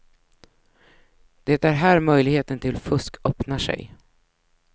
Det är här möjligheten till fusk öppnar sig.